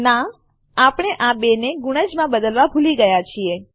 ના આપણે આ 2 ને ગુણજ માં બદલવા ભૂલી ગયા છીએ